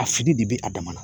A fili de be a dama na.